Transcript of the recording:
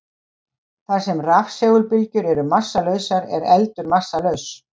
Þar sem rafsegulbylgjur eru massalausar er eldur massalaus.